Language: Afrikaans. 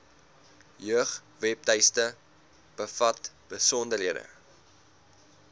jeugwebtuiste bevat besonderhede